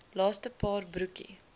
laaste paar broekie